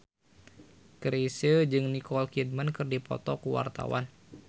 Chrisye jeung Nicole Kidman keur dipoto ku wartawan